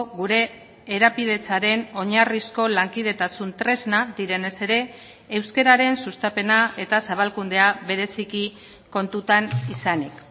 gure erapidetzaren oinarrizko lankidetasun tresna direnez ere euskararen sustapena eta zabalkundea bereziki kontutan izanik